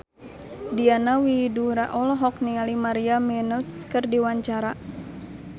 Diana Widoera olohok ningali Maria Menounos keur diwawancara